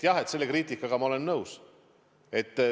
Jah, selle kriitikaga ma olen nõus.